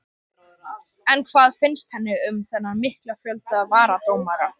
En hvað finnst henni um þennan mikla fjölda varadómara?